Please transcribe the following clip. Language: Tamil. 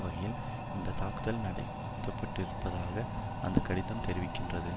வகையில் இந்த தாக்குதல் நடத்தப்பட்டிருப்பதாக அந்த கடிதம் தெரிவிக்கின்றது